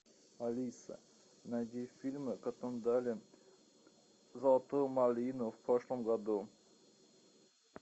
алиса найди фильмы которым дали золотую малину в прошлом году